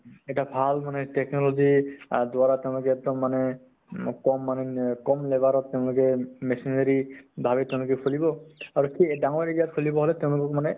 এটা ভাল মানে technology আ দ্ৱাৰা তেওঁলোকে এক্দম মানে উম কম earning, কম labor ত তেওঁলোকে machinery ভাবে তেওঁলোকে খুলিব আৰু খেই ডাঙৰ area ত খুলিব আৰু তেওঁলোকক মানে